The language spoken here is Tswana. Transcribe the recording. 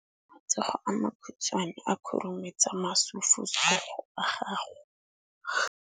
Matsogo a makhutshwane a khurumetsa masufutsogo a gago.